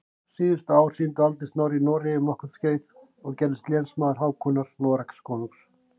Síðustu ár sín dvaldi Snorri í Noregi um nokkurt skeið og gerðist lénsmaður Hákonar Noregskonungs.